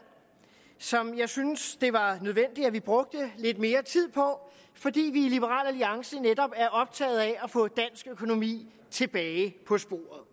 som jeg synes det var nødvendigt at vi brugte lidt mere tid på fordi vi i liberal alliance netop er optaget af at få dansk økonomi tilbage på sporet